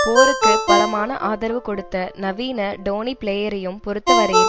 போருக்கு பலமான ஆதரவு கொடுத்த நவீன டோனி பிளேயரையும் பொறுத்தவரையில்